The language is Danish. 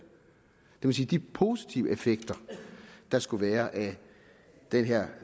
vil sige at de positive effekter der skulle være af det her